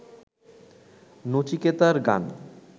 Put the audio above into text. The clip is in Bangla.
নচিকেতার গান